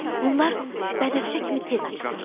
Bunlar bənövşə kimi tez açılır.